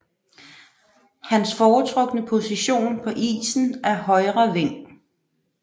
Hans foretrukne position på isen er højre wing